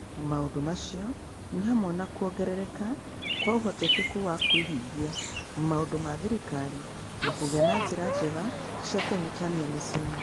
Maũndũ macio nĩ hamwe na kuongerereka kwa ũhotekeku wa kũhingia maũndũ ma thirikari na kũgĩa na njĩra njega cia kũhutania mĩciĩ-inĩ.